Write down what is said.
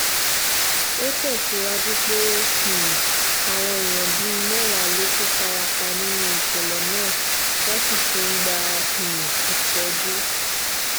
ó tẹ̀síwájú pé um àwọn èèyàn bíi mẹ́wàá ló tún fara pa nínú ìṣẹ̀lẹ̀ náà wọ́n sì ti ń gba um ìtọ́jú